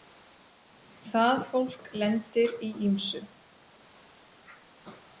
Það fólk lendir í ýmsu.